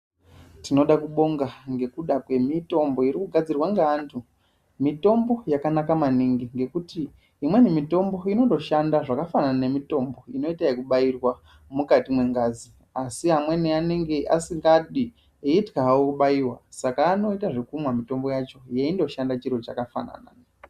Tinoda kubonga ngekuda kwemitombo iri kugadzirwa ngaanthu ,mitombo yakanaka maningi ngekuti imweni mitombo inotoshanda zvakafanana nemitombo inoita ekubairwa mukati mwengazi asi amweni anenge eitya hawo kubaiwa saka anoita zvekumwa mitombo yacho, yeindoshanda chiro chakafanana.